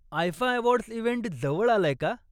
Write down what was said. IIFA awards event जवळ आलाय का?